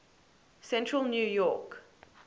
central new york